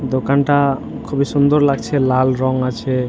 দোকানটা আ খুবই সুন্দর লাগছে লাল রং আছে।